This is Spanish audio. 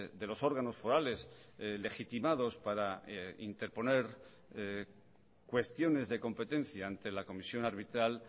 de los órganos forales legitimados para interponer cuestiones de competencia ante la comisión arbitral